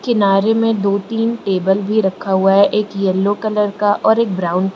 किनारे में दो तीन टेबल भी रखा हुआ है एक येलो कलर का और एक ब्राउन --